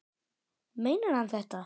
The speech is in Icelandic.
Meinar hann þetta?